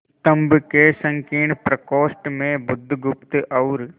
स्तंभ के संकीर्ण प्रकोष्ठ में बुधगुप्त और